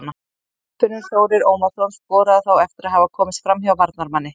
Guðfinnur Þórir Ómarsson skoraði þá eftir að hafa komist framhjá varnarmanni.